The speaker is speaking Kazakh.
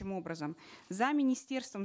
образом за министерством